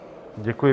Děkuji.